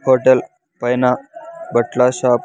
Hotel పైన బట్ల shop .